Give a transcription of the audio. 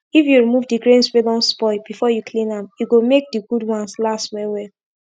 if u remove d grains wey don spoil before u clean am e go make d good ones last well well